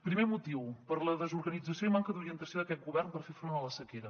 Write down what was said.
primer motiu per la desorganització i manca d’orientació d’aquest govern per fer front a la sequera